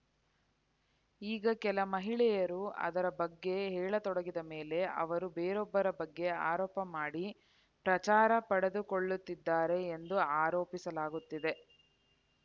ಈಗ ಕೆಲ ಮಹಿಳೆಯರು ಅದರ ಬಗ್ಗೆ ಹೇಳತೊಡಗಿದ ಮೇಲೆ ಅವರು ಬೇರೊಬ್ಬರ ಬಗ್ಗೆ ಆರೋಪ ಮಾಡಿ ಪ್ರಚಾರ ಪಡೆದುಕೊಳ್ಳುತ್ತಿದ್ದಾರೆ ಎಂದು ಆರೋಪಿಸಲಾಗುತ್ತಿದೆ